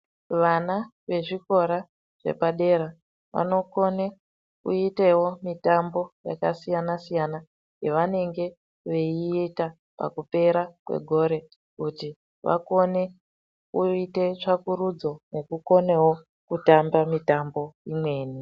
Vana vezvikora zvepadera vanokone kuitewo mitambo yakasiyana siyana yavanenge veiita pakupera kwegore kuti vakone kuite tsvakurudzo nekukonewo kutamba mitambo imweni.